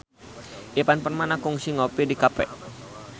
Ivan Permana kungsi ngopi di cafe